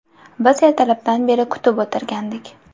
Biz ertalabdan beri kutib o‘tirgandik.